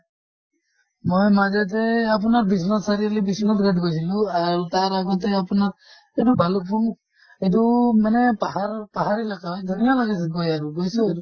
মই মাজতে আপোনাৰ বিশ্বনাথ চাৰিআলি গৈছিলো বিশ্বনাথ গৈছিলো আৰু তাৰ আগতে আপোনাৰ এইটো ভালুক্পুং এইটো মানে পাহাৰ পাহাৰ হয় হৈ আৰু গৈছো আৰু।